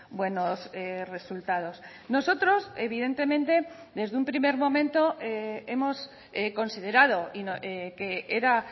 buenos resultados nosotros evidentemente desde un primer momento hemos considerado que era